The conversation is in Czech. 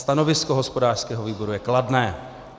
Stanovisko hospodářského výboru je kladné.